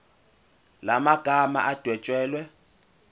la magama adwetshelwe